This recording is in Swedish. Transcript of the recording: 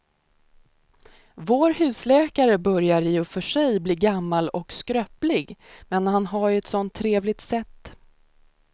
Vår husläkare börjar i och för sig bli gammal och skröplig, men han har ju ett sådant trevligt sätt!